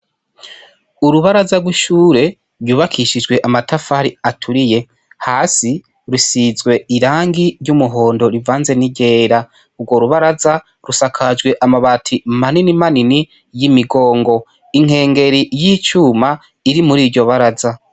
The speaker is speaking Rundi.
Urubaraza rw'ishure ryubakishijwe amatafari aturiye hasi rusizwe irangi ry'umuhondo rivanze n'igera urwo rubaraza rusakajwe amabati manini manini y'imigongo inkengeri y'icuma iri muri iryo baraza.